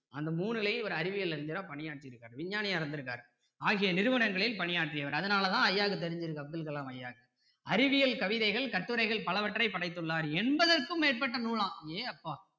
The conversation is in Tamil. அந்த மூணுலயும் இவர் அறிவியல் அறிஞரா பணியாற்றி இருக்காரு விஞ்ஞானியா இருந்திருக்காரு ஆகிய நிறுவனங்களில் பணியாற்றியவர் அதனால தான் ஐயாக்கு தெரிஞ்சி இருக்கு அப்துல் கலாம் ஐயாக்கு அறிவியல் கவிதைகள் கட்டுரைகள் பலவற்றை படைத்துள்ளார் எண்பதற்கும் மேற்பட்ட நூலாம் அடேங்கப்பா